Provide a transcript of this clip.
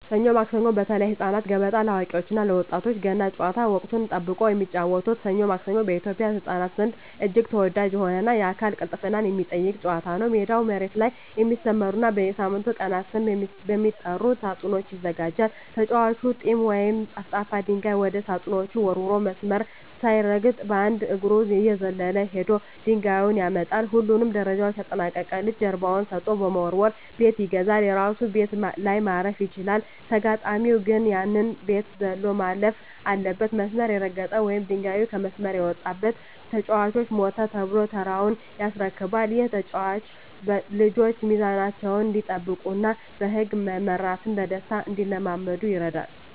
ሰኞ ማክሰኞ (በተለይ ለህፃናት)፣ገበጣ (ለአዋቂዎች እና ለወጣቶች)፣ ገና ጨዋታ (ወቅትን ጠብቆ የሚጫወቱት) "ሰኞ ማክሰኞ" በኢትዮጵያ ህፃናት ዘንድ እጅግ ተወዳጅ የሆነና የአካል ቅልጥፍናን የሚጠይቅ ጨዋታ ነው። ሜዳው መሬት ላይ በሚሰመሩና በሳምንቱ ቀናት ስም በሚጠሩ ሳጥኖች ይዘጋጃል። ተጫዋቹ "ጢያ" ወይም ጠፍጣፋ ድንጋይ ወደ ሳጥኖቹ ወርውሮ፣ መስመር ሳይረግጥ በአንድ እግሩ እየዘለለ ሄዶ ድንጋዩን ያመጣል። ሁሉንም ደረጃዎች ያጠናቀቀ ልጅ ጀርባውን ሰጥቶ በመወርወር "ቤት ይገዛል"። የራሱ ቤት ላይ ማረፍ ሲችል፣ ተጋጣሚው ግን ያንን ቤት ዘሎ ማለፍ አለበት። መስመር የረገጠ ወይም ድንጋዩ ከመስመር የወጣበት ተጫዋች "ሞተ" ተብሎ ተራውን ያስረክባል። ይህ ጨዋታ ልጆች ሚዛናቸውን እንዲጠብቁና በህግ መመራትን በደስታ እንዲለማመዱ ይረዳል።